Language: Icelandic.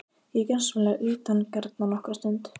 Ég er gjörsamlega utangarna nokkra stund.